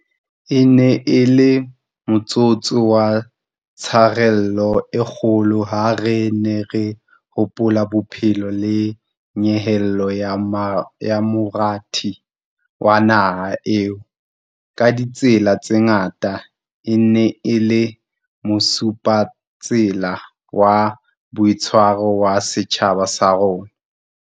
E ne e le motsotso wa tsharelo e kgolo ha re ne re hopola bophelo le nyehelo ya morati wa naha eo, ka ditsela tse ngata, e neng e le mosupatsela wa boitshwaro wa setjhaba sa rona.